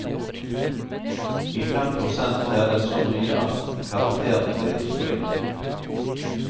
I fem prosent er det så mye at karakteren blir stryk.